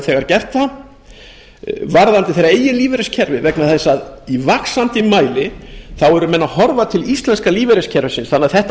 þegar gert það varðandi þeirra eigin lífeyriskerfi vegna þess að í vaxandi mæli eru menn að horfa til íslenska lífeyriskerfisins þannig að þetta